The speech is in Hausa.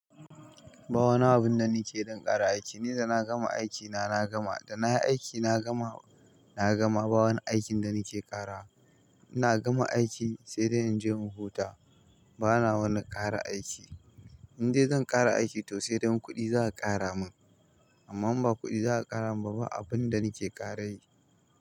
Ba wani abun da nake don ƙara aiki, ni da na gama aiki na, na gama. Da na yi aiki na gama, na gama. Ba wani aikin da nake ƙara. Ina gama aiki sai da in je in huta. Bana wannan ƙara aiki. In dai zan ƙara aiki to sai dai kuɗi za a ƙara min. Amma ba kuɗi za a ƙara min ba, abun da nake ƙara yi.